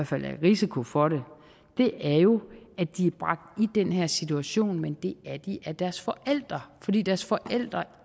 fald er i risiko for det er jo at de er bragt i den her situation men det er de af deres forældre fordi deres forældre